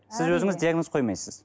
сіз өзіңіз диагноз қоймайсыз